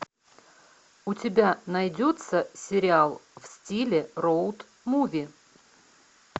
у тебя найдется сериал в стиле роуд муви